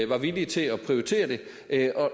var villige til at prioritere det